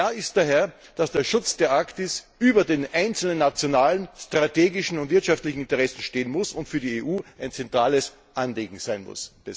Klar ist daher, dass der Schutz der Arktis über den einzelnen nationalen strategischen und wirtschaftlichen Interessen stehen und für die EU ein zentrales Anliegen sein muss.